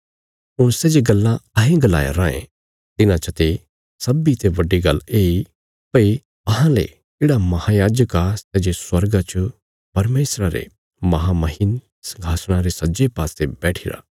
हुण सै जे गल्लां अहें गलाया रायें तिन्हां चते सब्बीं ते बड्डी गल्ल येई भई अहांले येढ़ा महायाजक आ सै जे स्वर्गा च परमेशरा रे महामहिमन संघासणा रे सज्जे पासे बैठिरा